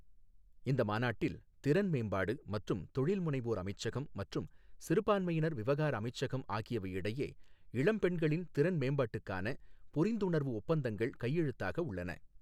இந்த மாநாட்டில், திறன் மேம்பாடு மற்றும் தொழில் முனைவோர் அமைச்சகம் மற்றும் சிறுபான்மையினர் விவகார அமைச்சகம் ஆகியவை இடையே இளம் பெண்களின் திறன் மேம்பாட்டுக்கான புரிந்துணர்வு ஒப்பந்தங்கள் கைழுத்தாக உள்ளன.